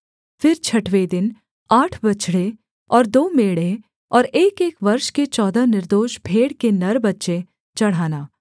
फिर छठवें दिन आठ बछड़े और दो मेढ़े और एकएक वर्ष के चौदह निर्दोष भेड़ के नर बच्चे चढ़ाना